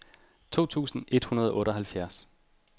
to tusind et hundrede og otteoghalvfjerds